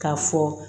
K'a fɔ